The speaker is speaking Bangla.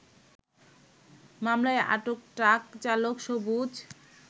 মামলায় আটক ট্রাক চালক সুবজ